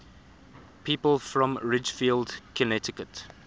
people from ridgefield connecticut